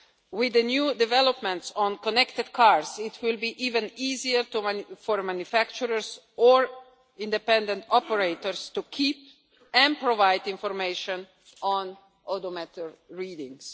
features. With the new developments on connected cars it will be even easier for manufacturers or independent operators to keep and provide information on odometer